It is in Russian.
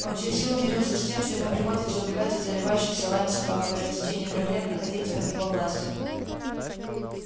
он через силу мирился с тем что ему приходится убегать от заливающихся лаем собак которые в течение трёх лет находились под его властью